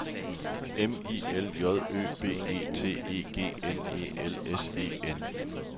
M I L J Ø B E T E G N E L S E N